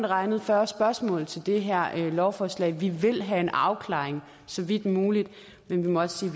regnet fyrre spørgsmål til det her lovforslag vi vil have en afklaring så vidt muligt men vi må også